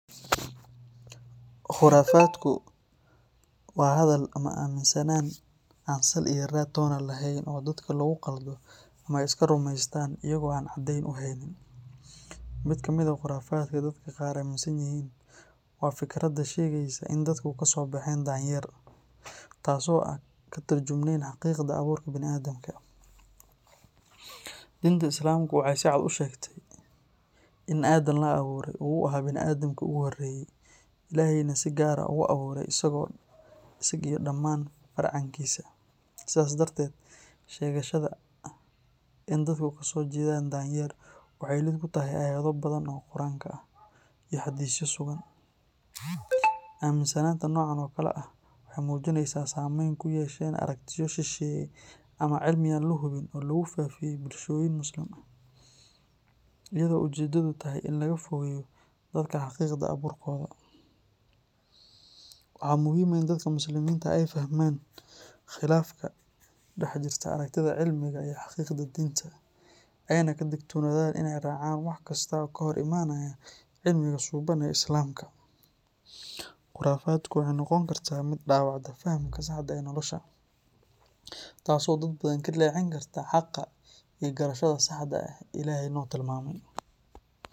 Khurafadku waa hadal ama aaminsanaan aan sal iyo raad toona lahayn oo dadka lagu qaldo ama ay iska rumaystaan iyagoo aan caddayn u haynin. Mid ka mid ah khurafaadka dadka qaar aaminsan yihiin waa fikradda sheegaysa in dadku kasoo bexeen danyeer, taas oo aan ka turjumayn xaqiiqda abuurka banii'aadamka. Diinta Islaamku waxay si cad u sheegtay in Aadan la abuuray oo uu ahaa banii’aadamkii ugu horreeyay, Ilaahayna si gaar ah ayaa u abuuray isaga iyo dhamaan farcankiisa. Sidaas darteed, sheegashada ah in dadku kasoo jeedaan danyeer waxay lid ku tahay aayado badan oo Qur'aanka ah iyo xadiisyo sugan. Aaminsanaanta noocan oo kale ah waxay muujinaysaa saamayn ay ku yeesheen aragtiyo shisheeye ama cilmi aan la hubin oo lagu faafiyey bulshooyin Muslimiin ah, iyadoo ujeedadu tahay in laga fogeeyo dadka xaqiiqda abuurkooda. Waa muhiim in dadka Muslimiinta ah ay fahmaan khilaafka ka dhexjira aragtida cilmiga iyo xaqiiqda diinta, ayna ka digtoonaadaan inay raacaan wax kasta oo ka hor imanaya cilmiga suuban ee Islaamka. Khurafaddu waxay noqon kartaa mid dhaawacda fahamka saxda ah ee nolosha, taasoo dad badan ka leexin karta xaqa iyo garashada saxda ah ee Ilaahay noo tilmaamay.